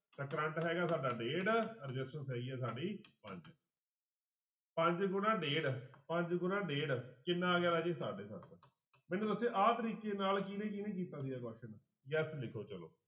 ਤਾਂ ਕਰੰਟ ਹੈਗਾ ਸਾਡਾ ਡੇਢ resistance ਹੈਗੀ ਆ ਸਾਡੀ ਪੰਜ ਪੰਜ ਗੁਣਾ ਡੇਢ ਪੰਜ ਗੁਣਾ ਡੇਢ ਕਿੰਨਾ ਆ ਗਿਆ ਰਾਜੇ ਸਾਢੇ ਸੱਤ ਮੈਨੂੰ ਦੱਸਿਓ ਆਹ ਤਰੀਕੇ ਨਾਲ ਕਿਹਨੇ ਕਿਹਨੇ ਕੀਤਾ ਸੀਗਾ question ਲਿਖੋ ਚਲੋ